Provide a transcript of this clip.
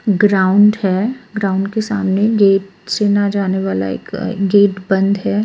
Ground है ground के सामने गेट से ना जाने वाला एक गेट बंद है।